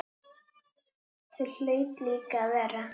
Það hlaut líka að vera.